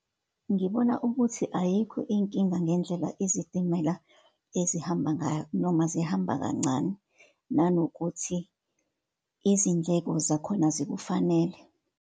Ngibona ukuthi ayikho inkinga ngendlela izitimela ezihamba ngayo, noma zihamba kancane, nanokuthi izindleko zakhona zikufanele.